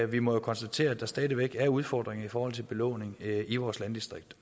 vi må konstatere at der stadig væk er udfordringer i forhold til belåning i vores landdistrikter